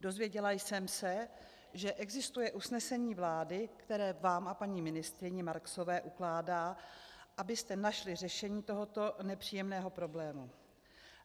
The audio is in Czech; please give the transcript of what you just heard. Dozvěděla jsem se, že existuje usnesení vlády, které vám a paní ministryni Marksové ukládá, abyste našli řešení tohoto nepříjemného problému.